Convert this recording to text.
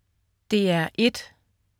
DR1: